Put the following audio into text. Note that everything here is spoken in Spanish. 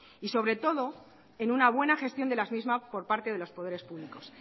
y sobre todo en una buena gestión de las mismas por parte de los poderes públicos